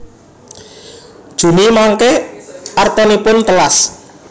Juni mangke artanipun telas